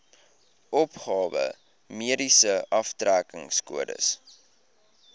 opgawe mediese aftrekkingskode